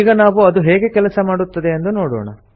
ಈಗ ನಾವು ಅದು ಹೇಗೆ ಕೆಲಸ ಮಾಡುತ್ತದೆ ಎಂದು ನೋಡೋಣ